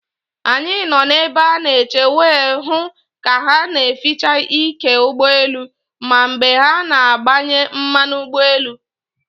Anyị nọ na ebe a na eche wee hụ ka ha na eficha ike ụgbọ elu, ma mgbe ha na agbanye mmanụ ụgbọ elu